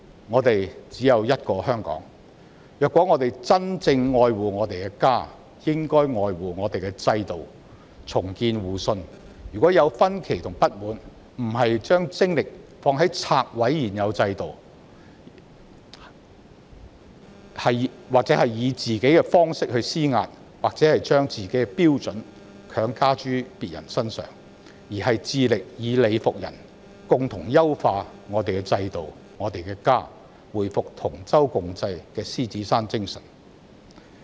我們只有一個香港，如果我們真正愛護我們的家，便應愛護我們的制度，重建互信；如有分歧和不滿，不把精力放在拆毀現有制度，以自己的方式施壓，把自己的標準強加諸他人身上，而是致力以理服人，並且優化我們的制度及我們的家，回復同舟共濟的獅子山精神。